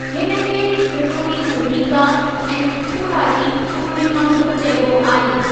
हिनखे त्रिपुरी पूर्णिका ऐं त्रिपुरारी पूर्णिमा बि चइबो आहे।